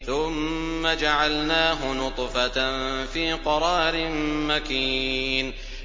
ثُمَّ جَعَلْنَاهُ نُطْفَةً فِي قَرَارٍ مَّكِينٍ